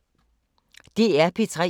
DR P3